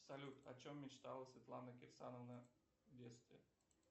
салют о чем мечтала светлана кирсановна в детстве